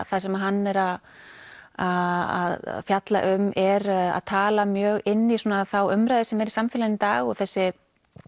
það sem hann er að að fjalla um er að tala mjög inn í þá umræðu sem er í samfélaginu í dag og þessi